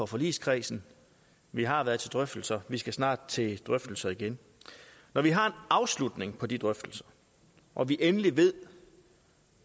forligskredsen vi har været til drøftelser vi skal snart til drøftelser igen når vi har en afslutning på de drøftelser og vi endelig ved